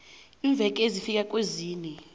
iimveke ezifika kwezine